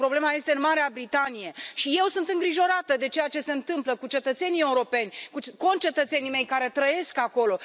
Problema este în Marea Britanie și eu sunt îngrijorată de ceea ce se întâmplă cu cetățenii europeni, cu concetățenii mei care trăiesc acolo.